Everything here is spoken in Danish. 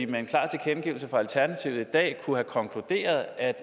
med en klar tilkendegivelse fra alternativet i dag kunne have konkluderet at